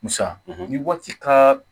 Musa ni waati ka